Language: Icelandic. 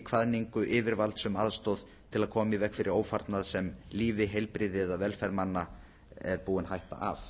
kvaðningu yfirvalds um aðstoð til að koma í veg fyrir ófarnað sem lífi heilbrigði eða velferð manna er búin hætta af